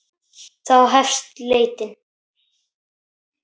Þá hefst leitin.